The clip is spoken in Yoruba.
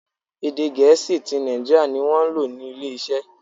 Èdè Gẹ̀ẹ́sì ti Naijiria ni wọ́n lò ní ilé iṣẹ́.